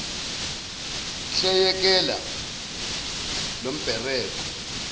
hle yekela lombereko